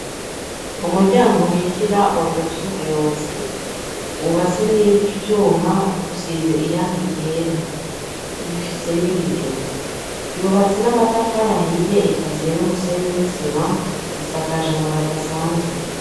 Umuryango winjira mu biro vy'umuyobozi, wubatse n'ivyuma usize irangi ryera. Rifise n'ibiyo. Yubatse n'amatafari ahiye ikaziye n'umusenyi n'isima isakaje amabati asanzwe.